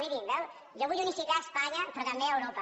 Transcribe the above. mirin veuen jo vull unificar a espanya però també a europa